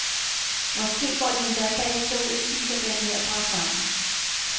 Måske går de endda bagefter ud og spiser den mørbrad sammen.